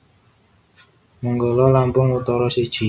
Menggala Lampung Utara siji